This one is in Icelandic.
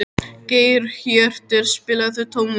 Geirhjörtur, spilaðu tónlist.